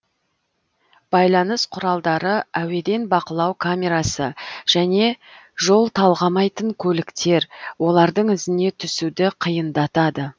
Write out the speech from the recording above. байланыс құралдары әуеден бақылау камерасы және жол талғамайтын көліктер олардың ізіне түсуді қиындатады